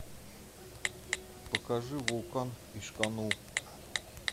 покажи вулкан ишканул